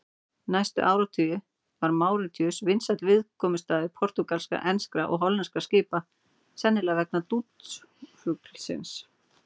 Næstu áratugi var Máritíus vinsæll viðkomustaður portúgalskra, enskra og hollenskra skipa, sennilega vegna dúdúfuglsins.